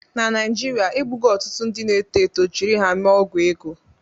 Na Naijiria, egbugo ọtụtụ ndị na-eto eto jiri ha mee ọgwụ ego